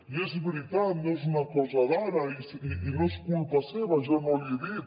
i és veritat no és una cosa d’ara i no és culpa seva jo no l’hi he dit